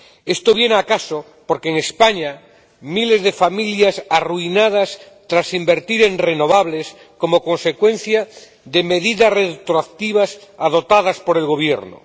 Esto viene al caso porque en España hay miles de familias arruinadas tras invertir en renovables, como consecuencia de medidas retroactivas adoptadas por el Gobierno.